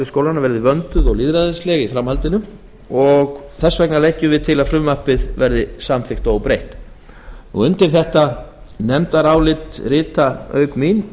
skólanna verði vönduð og lýðræðisleg í framhaldinu og leggjum því til að frumvarpið verði samþykkt óbreytt undir nefndarálitið rita auk mín